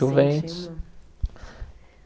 Juventus.